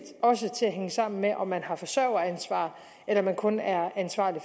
også til at hænge sammen med om man har forsørgeransvar eller om man kun er ansvarlig